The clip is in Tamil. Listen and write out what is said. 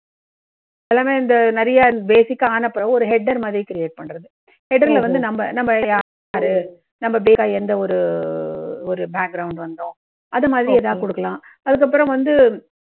எல்லாமே, இந்த நிறைய basic கா ஆன பிறகு ஒரு header மாதிரி create பண்றது. header ல வந்து நம்ப நம் basic எந்த ஒரு ஒரு background ல வந்தோம். அது மாதிரி ஏதாவது குடுக்கலாம். அதுக்கப்புறம் வந்து,